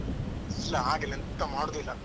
ಇಲ್ಲ ಹಾಗೆಲ್ಲ ಎಂತ ಮಾಡುದಿಲ್ಲ.